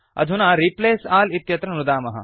अधुना replace all इत्यत्र नुदामः